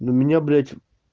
ну у меня блять